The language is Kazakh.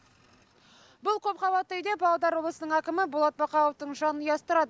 бұл көпқабатты үйде павлодар облысының әкімі болат бақауовтың жанұясы тұрады